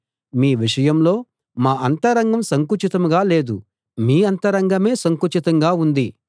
మీ విషయంలో మా అంతరంగం సంకుచితంగా లేదు మీ అంతరంగమే సంకుచితంగా ఉంది